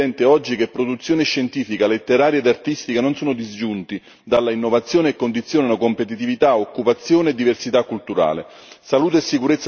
Quest'esigenza è ancora più evidente oggi che produzione scientifica, letteraria ed artistica non sono disgiunti dalla innovazione e condizionano competitività, occupazione e diversità culturale.